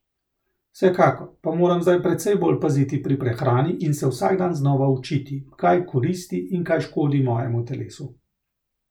Vsekakor pa moram zdaj precej bolj paziti pri prehrani in se vsak dan znova učiti, kaj koristi in kaj škodi mojemu telesu.